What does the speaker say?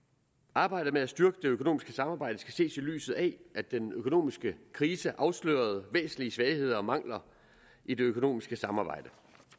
arbejdet med at styrke det økonomiske samarbejde skal ses i lyset af at den økonomiske krise afslørede væsentlige svagheder og mangler i det økonomiske samarbejde